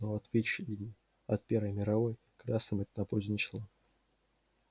но в отличие от первой мировой красным это на пользу не шло